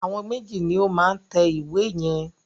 Àwọn méjì ni ó máa tẹ ìwé yẹn.